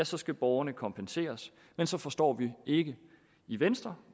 så skal borgerne kompenseres men så forstår vi ikke i venstre